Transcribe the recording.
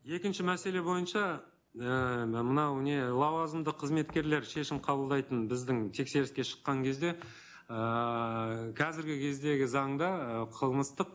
екінші мәселе бойынша ііі мынау не лауазымды қызметкерлер шешім қабылдайтын біздің тексеріске шыққан кезде ыыы қазіргі кездегі заңға ы қылмыстық